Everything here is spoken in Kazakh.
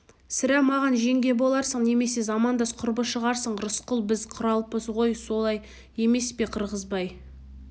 сірә маған жеңге боларсың немесе замандас құрбы шығарсың рысқұл біз құралпы ғой солай емес пе қырғызбай